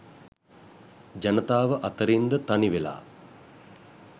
ජනතාව අතරින්ද තනිවෙලා